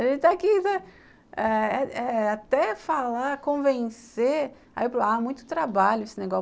A gente está aqui até eh eh até falar, convencer, aí eu falo, ah, muito trabalho esse negócio.